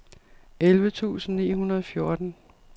elleve tusind ni hundrede og fjorten